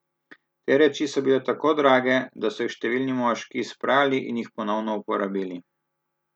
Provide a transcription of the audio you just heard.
Te reči so bile tako drage, da so jih številni moški izprali in jih ponovno uporabili.